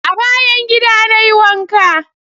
A bayan gida na yi wanka.